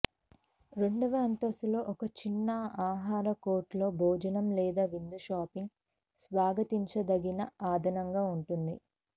రెండవ అంతస్తులో ఒక చిన్న ఆహార కోర్ట్ లో భోజనం లేదా విందు షాపింగ్ స్వాగతించదగిన అదనంగా ఉంటుంది